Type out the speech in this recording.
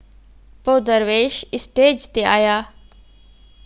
پوءِ درويش اسٽيج تي آهيا